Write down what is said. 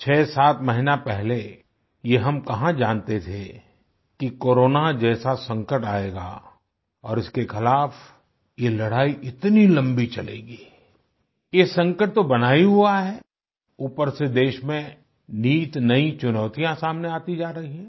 67 महीना पहले ये हम कहां जानते थे कि कोरोना जैसा संकट आएगा और इसके खिलाफ़ ये लड़ाई इतनी लम्बी चलेगी आई ये संकट तो बना ही हुआ है ऊपर से देश में नित नयी चुनौतियाँ सामने आती जा रही हैं